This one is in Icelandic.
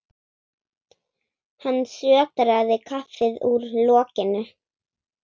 Hann sötraði kaffið úr lokinu.